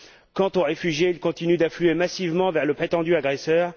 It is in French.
Quant aux réfugiés, ils continuent d'affluer massivement vers le prétendu agresseur.